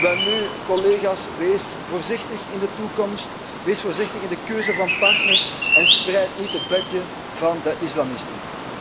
Welnu, collega's, wees voorzichtig in de toekomst, wees voorzichtig in de keuze van partners en spreid niet het bedje van de islamisten.